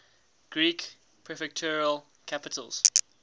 greek prefectural capitals